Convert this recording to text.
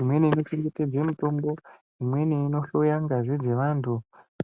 imweni inochengetedze mitombo, imweni inohloya ngazi dzevantu.